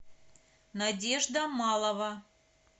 надежда малова